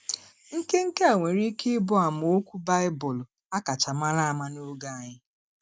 Nke Nke a nwere ike ịbụ amaokwu Baịbụl a kacha mara ama n’oge anyị.